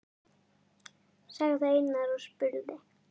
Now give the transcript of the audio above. sagði Einar og spurði.